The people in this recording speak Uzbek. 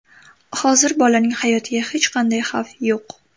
Hozir bolaning hayotiga hech qanday xavf yo‘q.